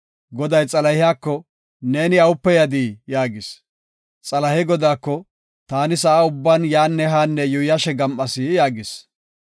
Goday Xalahiyako, “Neeni awupe yadii?” yaagis. Xalahey Godaako, “Taani sa7a ubban yaanne haanne yuuyashe gam7as” yaagis.